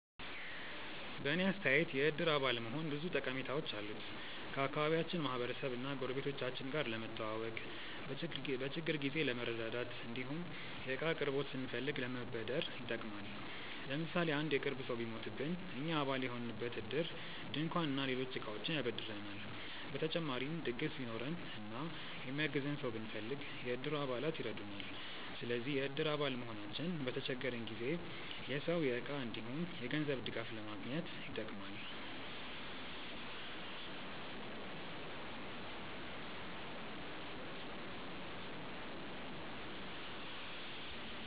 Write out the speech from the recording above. በእኔ አስተያየት የእድር አባል መሆን ብዙ ጠቀሜታዎች አሉት። ከአካባቢያችን ማህበረሰብ እና ጎረቤቶቻችን ጋር ለመተዋወቅ፣ በችግር ጊዜ ለመረዳዳት እንዲሁም የእቃ አቅርቦት ስንፈልግ ለመበደር ይጠቅማል። ለምሳሌ አንድ የቅርብ ሰው ቢሞትብን እኛ አባል የሆንበት እድር ድንኳን እና ሌሎች እቃዎችን ያበድረናል። በተጨማሪም ድግስ ቢኖረን እና የሚያግዘን ሰው ብንፈልግ፣ የእድሩ አባላት ይረዱናል። ስለዚህ የእድር አባል መሆናችን በተቸገረን ጊዜ የሰው፣ የእቃ እንዲሁም የገንዘብ ድጋፍ ለማግኘት ይጠቅማል።